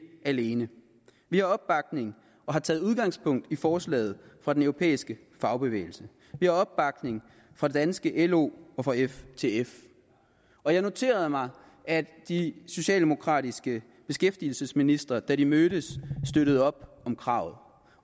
alene vi har opbakning og har taget udgangspunkt i forslaget fra den europæiske fagbevægelse vi har opbakning fra det danske lo og ftf og jeg noterede mig at de socialdemokratiske beskæftigelsesministre da de mødtes støttede op om kravet